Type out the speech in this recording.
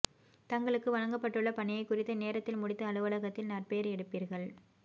தங்களுக்கு வழங்கப்பட்டுள்ள பணியை குறித்த நேரத்தில் முடித்து அலுவலகத்தில் நற்பெயர் எடுப்பீர்கள